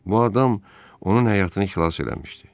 Bu adam onun həyatını xilas eləmişdi.